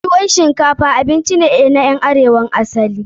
Tuwon shinkafa abinci ne na ƴan arewa na asali.